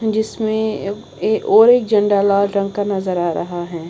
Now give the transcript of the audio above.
जिसमें ए और एक झंडा लाल रंग का नजर आ रहा है।